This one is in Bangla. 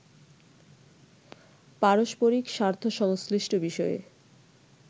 পারস্পরিক স্বার্থ সংশ্লিষ্ট বিষয়ে